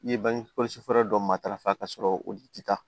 I ye bange kɔlɔsi fɔlɔ dɔ matarafa ka sɔrɔ olu ti taa